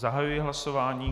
Zahajuji hlasování.